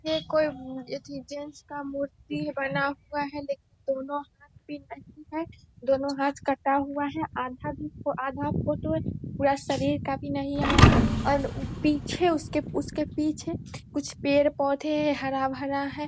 ये कोई की चेन्स का मूर्ति बना हुआ है। लकिन दोनों हाथ भी नहीं है दोनों हाथ कटा हुआ है। आधा भी आधा फोटो पूरा शरीर है भी नहीं आया है और पीछे उसके-उसके पीछे कुछ पेड़-पौधे हरा-भरा है।